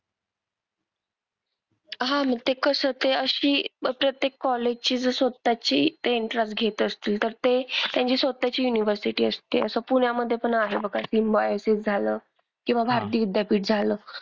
हां मग ते कसं ते अशी प्रत्येक college ची जर स्वतःची ते entrance घेत असतील तर ते त्यांची स्वतःची university असते असं पुण्यामधे पण आहे बघा. सिम्बायोसिस झालं किंवा भारती विद्यापीठ झालं.